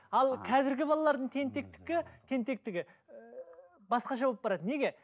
ал қазіргі балалардың тенктектігі ііі басқаша болып барады неге